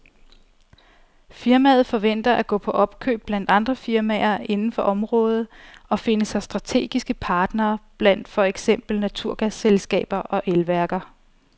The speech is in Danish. Firmaet forventer at gå på opkøb blandt andre firmaer inden for området og finde sig strategiske partnere blandt for eksempel naturgasselskaber og elværker.